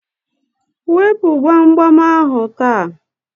Wepu gbamgbam ahụ taa!